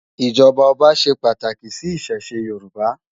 ijọba ọba ṣé pàtáki si Ìṣẹ̀ṣe Yoruba